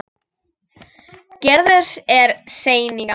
Gerður er sein í gang.